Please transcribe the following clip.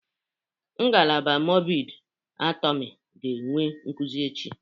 Ngalaba mọrbịd anatomị ga-enwe nkuzi echi.